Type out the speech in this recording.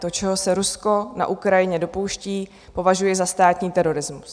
To, čeho se Rusko na Ukrajině dopouští, považuji za státní terorismus.